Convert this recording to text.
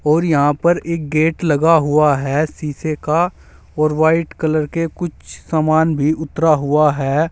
और यहां पर एक गेट लगा हुआ है शीशे का और वाइट कलर के कुछ सामान भी उतरा हुआ है।